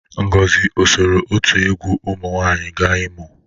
Ngozi o soro otu egwu ụmụ nwaanyị ga Imo?